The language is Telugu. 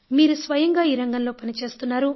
మీరు స్వయంగా ఈ రంగంలో పని చేస్తున్నారు